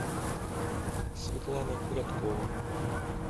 светлана куряткова